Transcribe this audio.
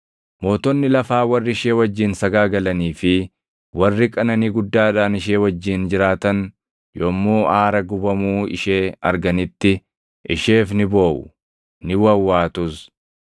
“Mootonni lafaa warri ishee wajjin sagaagalanii fi warri qananii guddaadhaan ishee wajjin jiraatan yommuu aara gubamuu ishee arganitti isheef ni booʼu; ni wawwaatus.